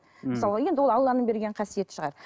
ммм мысалға енді ол алланың берген қасиеті шығар